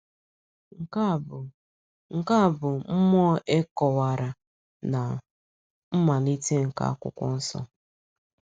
Nke a bụ Nke a bụ mmụọ e kọ̀wara na mmalite nke Akwụkwọ Nsọ.